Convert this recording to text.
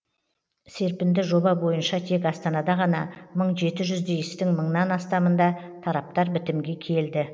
серпінді жоба бойынша тек астанада ғана мың жеті жүздей істің мыңнан астамында тараптар бітімге келді